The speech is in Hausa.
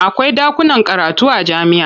Akwai ɗakunan karatu a jami'a.